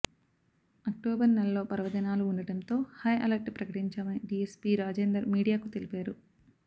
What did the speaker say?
October నెలలో పర్వదినాలు ఉండటంతో హైఅలర్ట్ ప్రకటించామని డీఎస్పీ రాజేందర్ మీడియాకు తెలిపారు